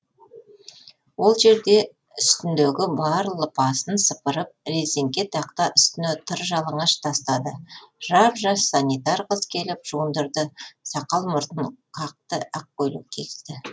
ол жерде үстіндегі бар лыпасын сыпырып резеңке тақта үстіне тыр жалаңаш тастады жап жас санитар қыз келіп жуындырды сақал мұртын қақты ақ көйлек кигізді